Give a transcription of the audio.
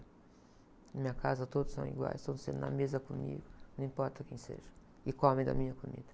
Na minha casa todos são iguais, todos se sentam na mesa comigo, não importa quem seja, e comem da minha comida.